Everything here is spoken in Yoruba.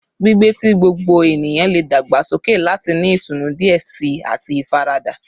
Gbigbe ti gbogbo eniyan le dagbasoke lati ni itunu diẹ sii ati ifarada